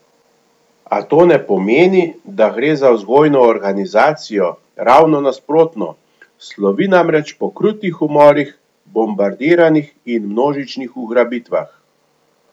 A, to ne pomeni, da gre za vzgojno organizacijo, ravno nasprotno, slovi namreč po krutih umorih, bombardiranjih in množičnih ugrabitvah.